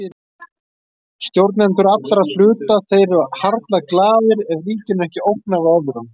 Stjórnendur allra hluta og þeir eru harla glaðir ef ríkinu er ekki ógnað af öðrum.